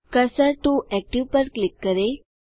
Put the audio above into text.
cursor to active पर click करें